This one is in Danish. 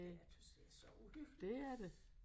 Det jeg tøs det så uhyggeligt